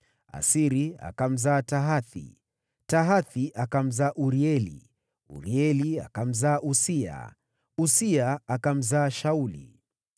Asiri akamzaa Tahathi, Tahathi akamzaa Urieli, Urieli akamzaa Uzia, Uzia akamzaa Shauli.